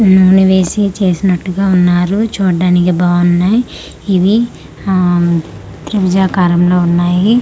నూనె వేసి చేసినట్టుగా ఉన్నారు చుడ్డానికి బావున్నాయ్ ఇవి ఆ త్రిభుజకారం లో ఉన్నాయి.